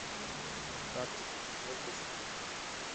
тактика четвертый сезон